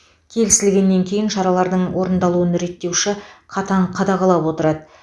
келісілгеннен кейін шаралардың орындалуын реттеуші қатаң қадағалап отырады